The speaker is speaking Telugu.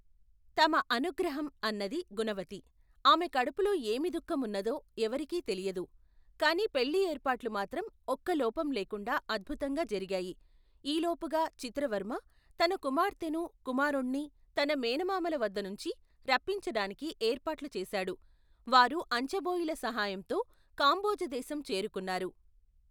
తమ అనుగ్రహం అన్నది గుణవతి, ఆమె కడుపులో ఏమి దుఖం ఉన్నదో, ఎవ్వరికీ తెలియదు, కాని పెళ్లి ఏర్పాట్లు మాత్రం ఒక్కలోపం లేకుండా అద్భుతంగా జరిగాయి, ఈలోపుగా చిత్రవర్మ తన కుమార్తెనూ కుమారుణ్ణీ తన మేనమామల వద్దనుంచి, రప్పించడానికి ఏర్పాట్లుచేశాడు, వారు అంచెబోయీల సహాయంతో కాంభోజదేశం చేరుకున్నారు.